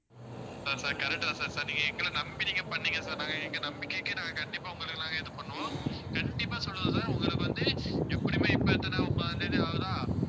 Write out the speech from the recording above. sir sir correct தான் sir sir நீங்க எங்களை நம்பி நீங்க பண்ணீங்க sir நாங்க எங்க நம்பிக்கைக்கு நாங்க கண்டிப்பா உங்களுக்கு நாங்க இது பண்ணுவோம் கண்டிப்பா சொல்லுறோம் sir உங்களுக்கு வந்து எப்படியுமே இப்ப எத்தனை முப்பதாம் தேதி ஆகுதா